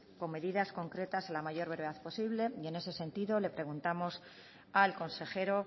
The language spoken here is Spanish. con medidas concretas en la mayor brevedad posible y en ese sentido le preguntamos al consejero